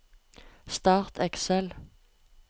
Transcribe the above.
Start Excel